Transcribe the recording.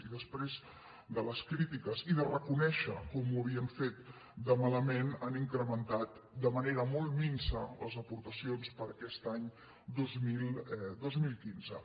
i després de les crítiques i de reconèixer com ho havien fet de malament han incrementat de manera molt minsa les aportacions per a aquest any dos mil quinze